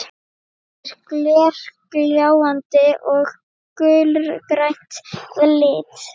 Það er glergljáandi og gulgrænt að lit.